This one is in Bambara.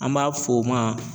An b'a fɔ o ma.